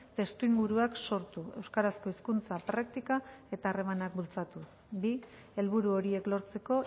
testuinguruak sortu euskarazko hizkuntza praktika eta harremanak bultzatuz bi helburu horiek lortzeko